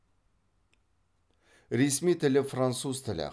ресми тілі француз тілі